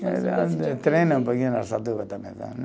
Eu treino um pouquinho